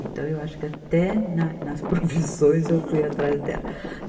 Então eu acho que até na, nas profissões eu fui atrás dela.